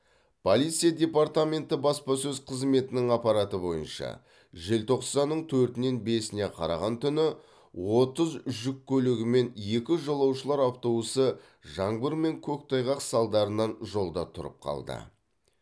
полиция департаменті баспасөз қызметінің ақпараты бойынша желтоқсанның төртінен бесіне қараған түні отыз жүк көлігі мен екі жолаушылар автобусы жаңбыр мен көктайғақ салдарынан жолда тұрып қалды